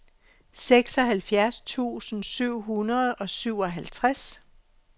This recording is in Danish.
seksoghalvfjerds tusind syv hundrede og syvoghalvtreds